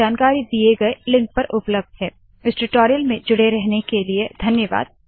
अधिक जानकारी दिए गए लिंक पर उपलब्ध है httpspoken tutorialorgNMEICT Intro इस टूटोरियल में जुड़े रहने क लिए धन्यवाद नमस्कार